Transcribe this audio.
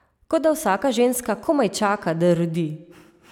Kot da vsaka ženska komaj čaka, da rodi!